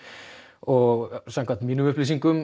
og samkvæmt mínum upplýsingum